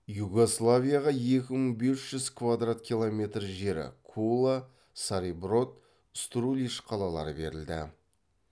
югославияға екі мың бес жүз квадрат километр жері кула цариброд струлищ қалалары берілді